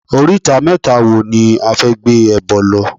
Oríta mẹ́ta wo ni a fẹ́ gbé ẹbọ lọ?